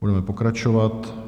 Budeme pokračovat.